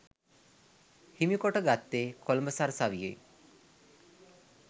හිමි කොට ගත්තේ කොළඹ සරසවියෙන්.